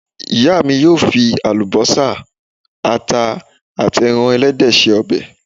Ìyá mi yóò fi àlùbọ́sà, àta àti ẹran ẹlẹ́dẹ̀ ṣe ọbẹ̀.